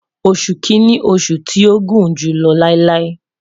Oṣu Kini oṣu ti o gun julọ lailai